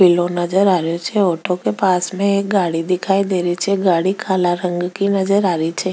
पिलो नजर आ रो छे ऑटो के पास में एक गाड़ी दिखाई दे री छे गाड़ी को काला रंग की नजर आ री छे।